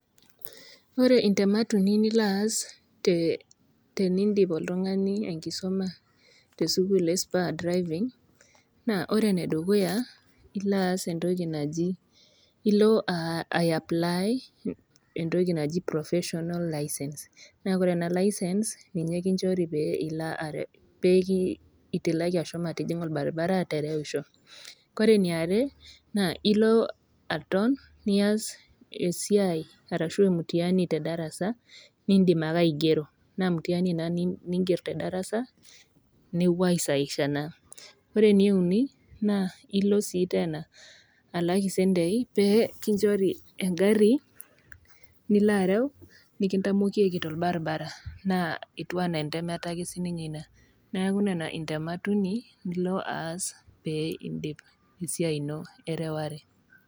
Ore intemat uni nilo aas oltung'ani nilo aas oltung'ani te sukuul e spur driving, naa ore ene dukuya naa ilo aas entoki naji, ilo aiaplly entoki naji proffesional license naa ore ena licene ninye kinchori pee itilaki ashomo atijing'a olbaribara aterewisho. Kore ene are naa ilo aton nias esiai ashu emutiani te darasa nindim ake aigero, naa mutiani ina niing'er te darasa, nepuoi aisahisha naa ene uni naa ilo sii teena alak isentei pee kinchori engari niloareu, nekintamokieki tolbaribara, naa ketiu ake sii ninye anaa entemata sii ninye ina . neaku nena intemat uni nilo aas pee indip esiai ino ereware.